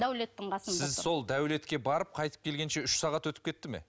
дәулеттің қасында сіз сол дәулетке барып қайтып келгенше үш сағат өтіп кетті ме